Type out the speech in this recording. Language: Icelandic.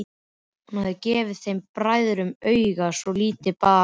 Hún hafði gefið þeim bræðrum auga svo lítið bar á.